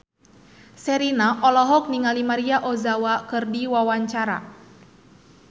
Sherina olohok ningali Maria Ozawa keur diwawancara